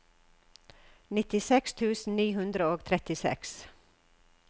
nittiseks tusen ni hundre og trettiseks